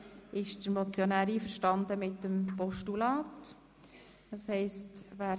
Hier ist der Motionär mit einem Postulat einverstanden.